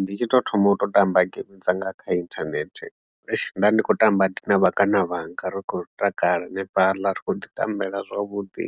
Ndi tshi tou thoma u tamba game dzanga kha internet nda ndi khou tamba ndi na vhangana vhanga ri khou takala hanefhaḽa ri kho ḓi tambela zwavhuḓi